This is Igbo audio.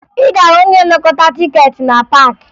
Ị ga-ahụ ndị na-anakọta tikeeti na paakị